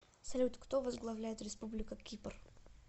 салют кто возглавляет республика кипр